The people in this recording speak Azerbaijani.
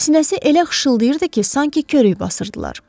Sinəsi elə xışılayırdı ki, sanki köyrək basırdılar.